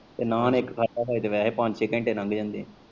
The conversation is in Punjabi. ਤੇ ਨਾਨ ਇੱਕ ਖਾਦਾ ਫੇਰ ਤਾਂ ਵੈਸੇ ਹੀ ਪੰਜ ਛੇ ਘੰਟੇ ਲੰਘ ਜਾਂਦੇ।